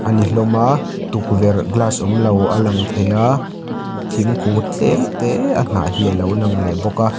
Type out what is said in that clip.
a ni hlawm a tukverh glass awmlo alang thei a thingkung tlem tê a hnah hi a lo lang leh bawk a.